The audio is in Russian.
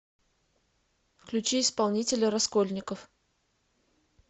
включи исполнителя раскольников